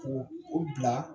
K'u u bila